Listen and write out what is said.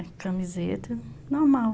É, camiseta, normal.